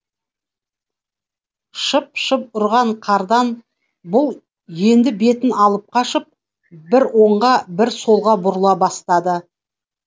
шып шып ұрған қардан бұл енді бетін алып қашып бір оңға бір солға бұрыла бастады